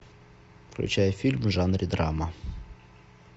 включай фильм в жанре драма